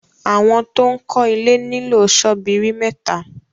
awọn to'n kò ilè nilo Sọ́bíìrì méta